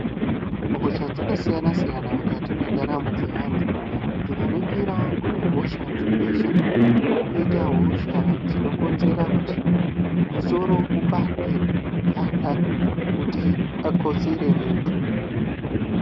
Hosha dzakasiyana-siyana mukati mwendaramo dzevantu. Tikaningira kunehosha dzebesha koita hosha dzinokonzera kuti musoro upande kana kuti pakotsire muntu.